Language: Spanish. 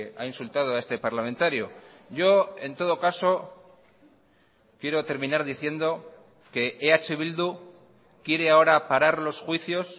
ha insultado a este parlamentario yo en todo caso quiero terminar diciendo que eh bildu quiere ahora parar los juicios